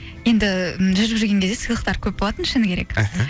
енді жүріп жүрген кезде сылыйқтар көп болатын шыңы керек іхі